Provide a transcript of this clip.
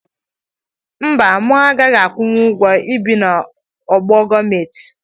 Mba mụ gaghi akwụnwụ ụgwo ibi na ogbe gọọmenti.